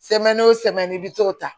o i bi t'o ta